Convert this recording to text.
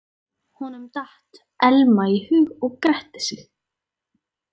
Honum datt Elma í hug og gretti sig.